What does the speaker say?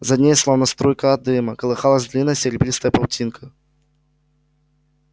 за ней словно струйка дыма колыхалась длинная серебристая паутинка